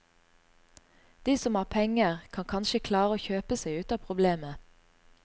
De som har penger, kan kanskje klare å kjøpe seg ut av problemet.